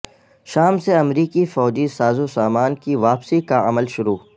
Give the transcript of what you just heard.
شام سے امریکی فوجی سازو سامان کی واپسی کا عمل شروع